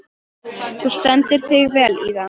Þú stendur þig vel, Ívan!